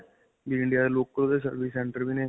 ਵੀ India ਦੇ service center ਵੀ ਨੇ.